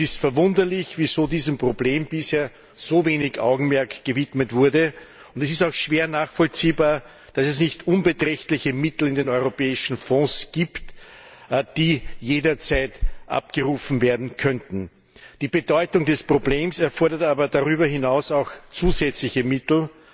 Es ist verwunderlich, wieso diesem Problem bisher so wenig Augenmerk gewidmet wurde, und es ist auch schwer nachvollziehbar, dass es nicht unbeträchtliche Mittel in den europäischen Fonds gibt, die jederzeit abgerufen werden könnten. Die Bedeutung des Problems erfordert aber darüber hinaus auch zusätzliche Mittel.